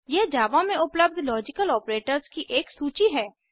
यहाँ जावा में उपलब्ध लॉजिकल आपरेटर्स की एक सूची है